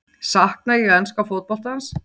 Sakna ég enska fótboltans?